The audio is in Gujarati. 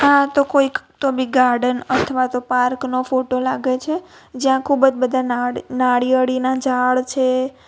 આ તો કોઈક તો બી ગાર્ડન અથવા તો પાર્ક નો ફોટો લાગે છે જ્યાં ખૂબ જ બધા નાળિ નાળિયેરીના ઝાડ છે.